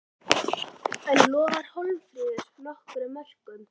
En lofar Hólmfríður nokkrum mörkum?